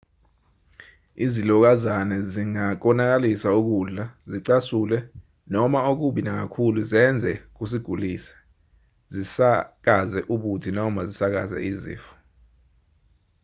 izilokazane zingakonakalisa ukudla zicasule noma okubi nakakhulu zenze kusigulise zisakaze ubuthi noma zisakaze izifo